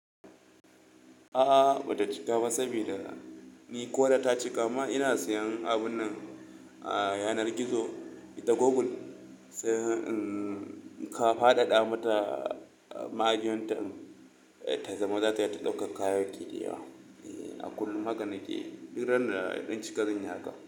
A'a ba ta cika ba saboda ni ko da ta cika ma ina siyan abun nan a yanar gizo da Google sai in kafaɗaɗa mata magiyon ta ta zama za ta iya ta ɗauka kayayyaki da yawa a kullum. Haka na ke yi duk ranar na cika zan yi haka.